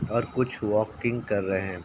और कुछ वाल्किंग कर रहें हैं।